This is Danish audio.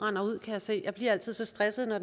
rinder ud kan jeg se og jeg bliver altid så stresset når